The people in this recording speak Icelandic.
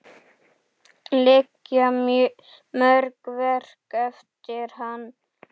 Liggja mörg verk eftir hann.